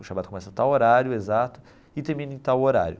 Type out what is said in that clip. O Shabbat começa a tal horário, exato, e termina em tal horário.